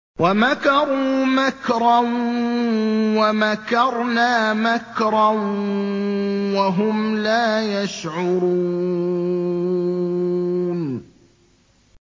وَمَكَرُوا مَكْرًا وَمَكَرْنَا مَكْرًا وَهُمْ لَا يَشْعُرُونَ